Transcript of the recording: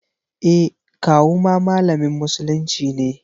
E, kawu ma malamin musulunci ne.